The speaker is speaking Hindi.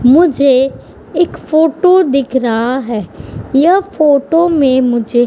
मुझे इक फोटो दिख रहा है यह फोटो में मुझे --